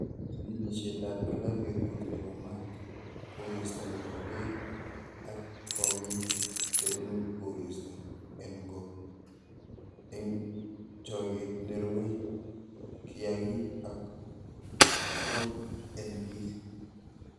Chigilisiet ab kila betut nebo maat, koristo neboto beek ak kong'iik chebunu koristo en goo en choget nerue kiyaagik ak okot en bii.